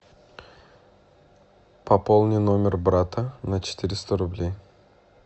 пополни номер брата на четыреста рублей